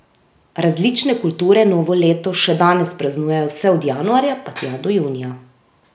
Različne kulture novo leto še danes praznujejo vse od januarja pa tja do junija.